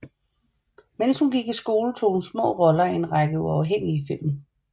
Mens hun gik i skole tog hun små roller i en række uafhængige film